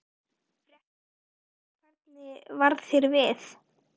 Fréttamaður: Og hvernig varð þér við?